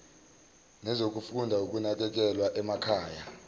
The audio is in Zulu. nezokufunda ukunakekelwa emakhaya